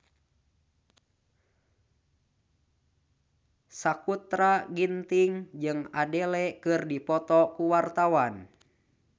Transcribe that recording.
Sakutra Ginting jeung Adele keur dipoto ku wartawan